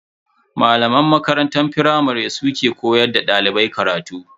Malaman makaranta firamare su ne ke koyar da dalibai karatu.